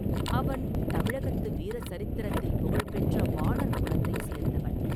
அவன் தமிழகத்து வீர சரித்திரத்தில் புகழ்பெற்ற வாணர் குலத்தை சேர்ந்தவன்.